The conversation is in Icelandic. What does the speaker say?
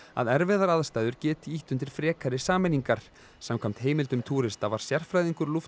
að erfiðar aðstæður geti ýtt undir frekari sameiningar samkvæmt heimildum túrista var sérfræðingur